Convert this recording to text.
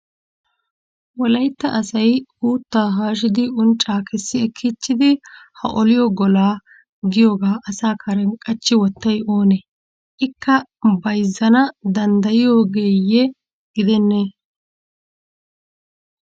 Wolayitta asayi uutta haashiddi uncca kessi ekkiichidi ha oliyo gola giyooga asa karen qachchi wottayi oonee? Ikka bayizzana danddayyiyoogeeyye gidenne?